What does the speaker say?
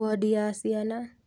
Wondi ya ciana